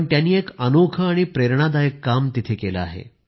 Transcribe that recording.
त्यांनी एक अनोखं आणि प्रेरणादायक काम केलं आहे